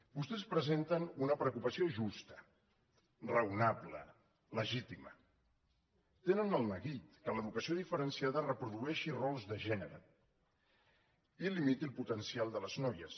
vostès presenten una preocupació justa raonable legítima tenen el neguit que l’educació diferenciada reprodueixi rols de gènere i limiti el potencial de les noies